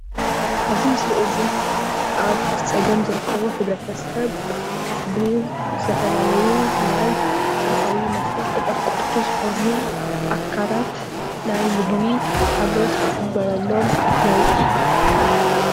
ኣዚ ምስሊ እዙይ ኣብ ፀገም ዝርከቡ ሕብረተሰብ ብዝተፈላለዩ ናይ ሰብኣዊ መሰል ተቆርቆርቲ ዝኾኑ ኣካላት ናይ ምግቢ ሓገዝ ክግበረሎም ንርኢ።